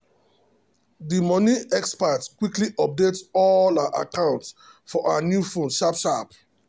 the money expert quickly update all her accounts for her new phone sharp sharp.